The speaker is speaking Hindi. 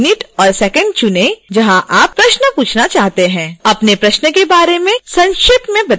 अपने प्रश्न के बारे में संक्षेप में बताएँ हमारी टीम में से कोई उनके जवाब देगा